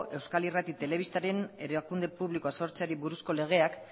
euskal irrati telebistaren erakunde publikoa sortzeari buruzko legeak